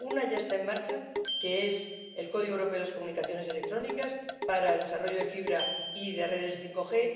Una ya está en marcha, que es el Código Europeo de las Comunicaciones Electrónicas para el desarrollo de fibra y de redes 5G.